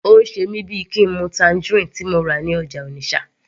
Ó ń ṣe mí bíi kín n mu tangerine tí mo rà ní ọjà Onitsha